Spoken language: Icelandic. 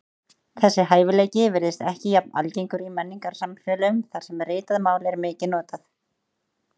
Þessi hæfileiki virðist ekki jafn algengur í menningarsamfélögum þar sem ritað mál er mikið notað.